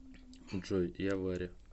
джой я варя